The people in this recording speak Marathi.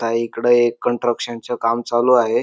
इकडे एक कॅन्ट्रक्शन च काम चालू आहे.